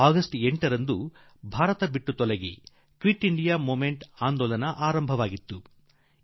August 8ರಂದು ಕಿuiಣ Iಟಿಜiಚಿ ಒovemeಟಿಣನ ಆರಂಭವಾಗಿತ್ತು